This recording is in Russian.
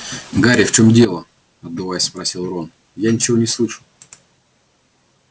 гарри в чём дело отдуваясь спросил рон я ничего не слышу